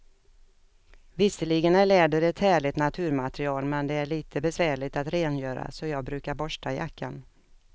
Visserligen är läder ett härligt naturmaterial, men det är lite besvärligt att rengöra, så jag brukar borsta jackan.